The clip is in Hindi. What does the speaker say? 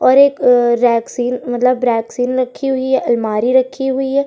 और एक रैकसील मतलब ब्रेकसील रखी हुई है। अरमारी रखी हुई है।